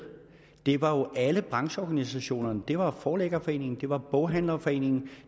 deltog alle brancheorganisationerne det var forlæggerforeningen det var boghandlerforeningen